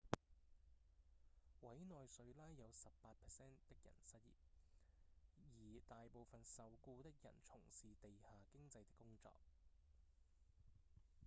委內瑞拉有 18% 的人失業而大部分受雇的人從事地下經濟的工作